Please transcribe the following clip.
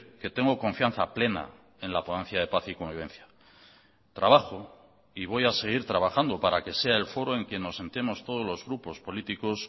que tengo confianza plena en la ponencia de paz y convivencia trabajo y voy a seguir trabajando para que sea el foro en que nos sentemos todos los grupos políticos